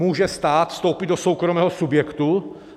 Může stát vstoupit do soukromého subjektu?